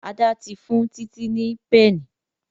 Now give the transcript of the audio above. Ada tí fún Titi ní Pẹ́ẹ̀nì.